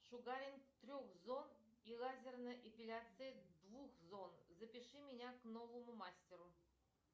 шугаринг трех зон и лазерная эпиляция двух зон запиши меня к новому мастеру